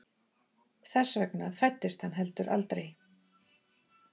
Þess vegna fæddist hann heldur aldrei.